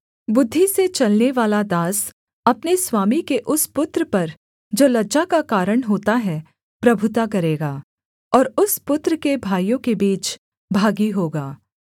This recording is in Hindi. बुद्धि से चलनेवाला दास अपने स्वामी के उस पुत्र पर जो लज्जा का कारण होता है प्रभुता करेगा और उस पुत्र के भाइयों के बीच भागी होगा